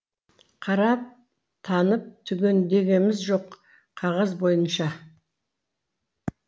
қарап танып түгендегеміз жоқ қағаз бойынша